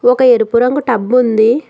ఒక ఎరుపు రంగు టబ్ ఉంది.